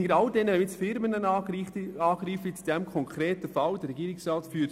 Zu all denen, die nun in diesem konkreten Fall Firmen angreifen: